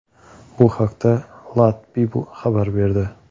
Bu haqda LADbible xabar berdi .